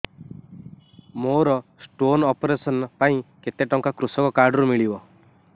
ମୋର stone operation ପାଇଁ କେତେ ଟଙ୍କା କୃଷକ କାର୍ଡ ରୁ ମିଳିବ